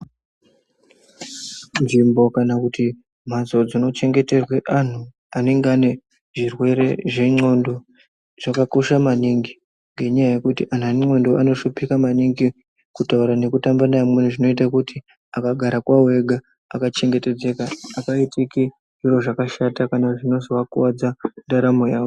Nzvimbo kana kuti mbatso dzinochengeterwe antu anenge ane zvirwere zvendxondo , zvakakosha maningi ngenyaya yekuti antu ane ndxondo anoshuphika maningi kutaura nekutamba neamweni. Zvinoite kuti akagara kwawo ega akachengetedzeka, apaitiki zviro zvakashata kana zvinozoakuwadza mundaramo yawo .